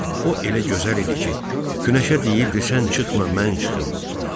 O elə gözəl idi ki, Günəşə deyirdi sən çıxma, mən çıxım.